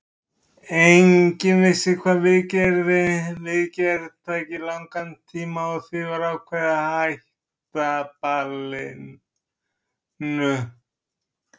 Enginn vissi hvað viðgerð tæki langan tíma og því var ákveðið að hætta ballinu.